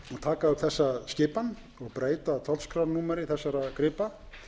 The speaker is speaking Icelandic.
taka upp þessa skipan og breyta tollskrárnúmeri þessara gripa